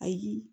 Ayi